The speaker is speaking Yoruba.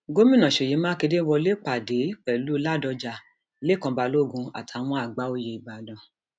gomina ṣeyí mákindè wọlé pàdé pẹlú ládọjà lẹkàn balógun àtàwọn àgbà oyè ìbàdàn